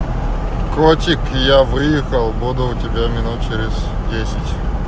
котик я выехал буду у тебя минут через десять